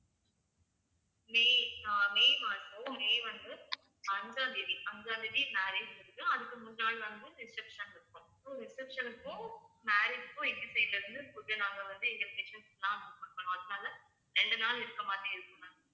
மே அஹ் மே மாசம் மே வந்து அஞ்சாம் தேதி அஞ்சாம் தேதி marriage இருக்கு அதுக்கு முந்தன நாள் வந்து reception இருக்கும் அப்போ reception க்கும் marriage க்கும் எங்க side ல இருந்து food நாங்க வந்து எங்க பண்ணுவோம் அதனால ரெண்டு நாள் இருக்கிற மாதிரி இருக்கும் ma'am